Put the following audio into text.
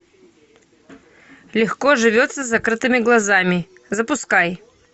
легко живется с закрытыми глазами запускай